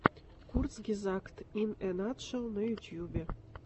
курцгезагт ин э натшел на ютубе